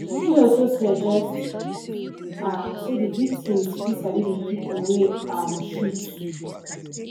im also suggest um say di victims fit sabi di pipo wey um shoot